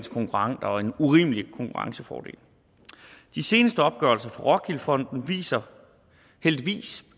urimelig konkurrencefordel de seneste opgørelser fra rockwool fonden viser heldigvis